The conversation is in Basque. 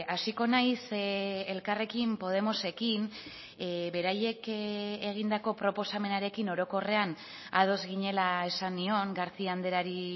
hasiko naiz elkarrekin podemosekin beraiek egindako proposamenarekin orokorrean ados ginela esan nion garcía andreari